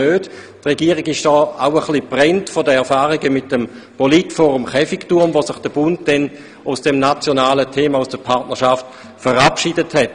Die Regierung ist hier auch ein wenig «gebrannt» von den Erfahrungen mit dem Politforum Käfigturm, bei welchem sich der Bund trotz des nationalen Themas aus der Partnerschaft verabschiedet hat.